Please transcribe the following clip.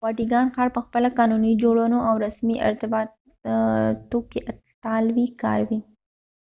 واټیکان ښار په خپله قانون جوړونه او رسمي ارتباطاتو کې اطالوي کاروي